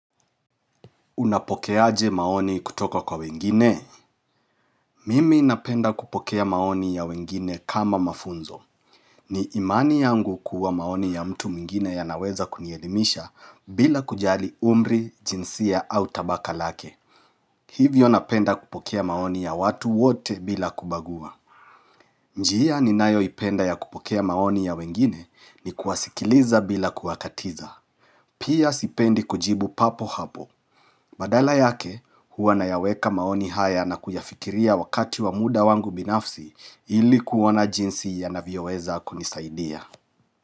Unapokeaje maoni kutoka kwa wengine? Mimi napenda kupokea maoni ya wengine kama mafunzo. Ni imani yangu kuwa maoni ya mtu mwingine yanaweza kunielimisha bila kujali umri, jinsia au tabaka lake. Hivyo napenda kupokea maoni ya watu wote bila kubagua. Njihia ninayoipenda ya kupokea maoni ya wengine ni kuwasikiliza bila kuwakatiza. Pia sipendi kujibu papo hapo. Badala yake, huwa nayaweka maoni haya na kuyafikiria wakati wa muda wangu binafsi ilikuona jinsi ya navyoweza kunisaidia.